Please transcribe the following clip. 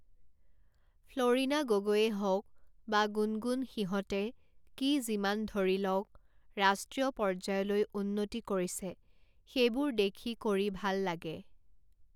ফ্লৰিণা গগৈয়ে হওঁক বা গুণগুণ সিহঁতে কি যিমান ধৰি লওঁক ৰাষ্ট্ৰীয় পৰ্যায়লৈ উন্নতি কৰিছে সেইবোৰ দেখি কৰি ভাল লাগে